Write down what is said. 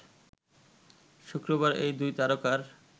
শুক্রবার এই দুই তারকার